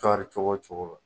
Kari cogo cogo la.